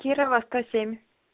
кирова сто семь